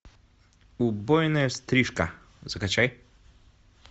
убойная стрижка закачай